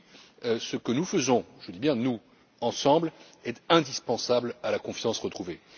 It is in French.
Oui, ce que nous faisons je dis bien nous ensemble est indispensable à la confiance retrouvée.